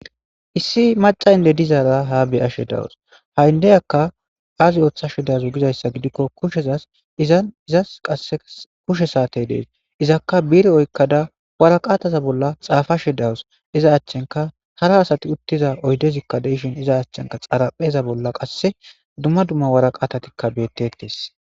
issi maca inde dizaara ha be'ashe dawus ha7indeyakka aasi ooththa she dazo gizayssa gidikko kushezas izan izas qae kushe saatey dees izakka biire oykkada waraqataza bolla xaafashe dawus iza achchenka hara asati uttiza oydezikkadeishin iza achchenka xarapheza bolla qasse dumma dumma waraqatatikka beettetes